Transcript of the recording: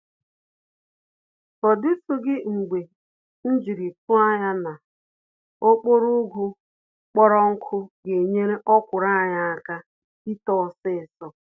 Ọdịtụghị mgbe mjiri tụọ ányá na okporo ụgụ kpọrọ nkụ genyere ọkwụrụ anyị àkà ito ọsịsọ